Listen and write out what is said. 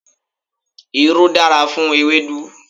Irú dára fún ewédú.